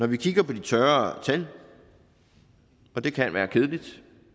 vi kigger på de tørre tal og det kan være kedeligt